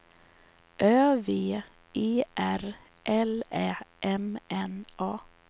Ö V E R L Ä M N A